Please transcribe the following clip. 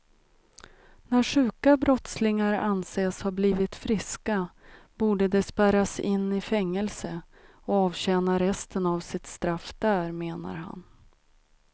När sjuka brottslingar anses ha blivit friska borde de spärras in i fängelse och avtjäna resten av sitt straff där, menar han.